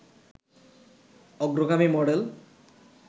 অগ্রগামী মডেল